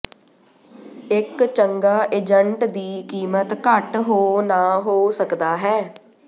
ਇੱਕ ਚੰਗਾ ਏਜੰਟ ਦੀ ਕੀਮਤ ਘੱਟ ਹੋ ਨਾ ਹੋ ਸਕਦਾ ਹੈ